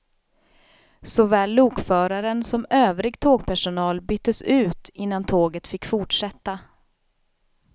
Såväl lokföraren som övrig tågpersonal byttes ut innan tåget fick fortsätta.